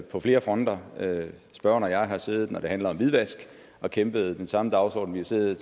på flere fronter spørgeren og jeg har siddet når det handlede om hvidvask og kæmpet for den samme dagsorden vi har siddet